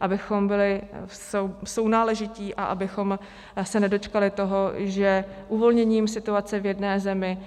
Abychom byli sounáležití a abychom se nedočkali toho, že uvolněním situace v jedné zemi